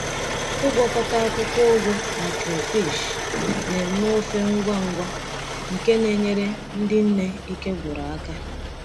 Ịgwakọta akwụkwọ ugu na crayfish na-eme ofe ngwa ngwa nke na-enyere ndị nne ike gwụrụ aka.